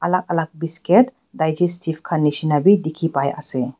alak alak bisket digestive khan nishina bi dikhipaiase.